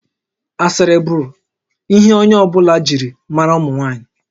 Asịrị bụ ihe onye ọ bụla jiri maara ụmụ nwaanyị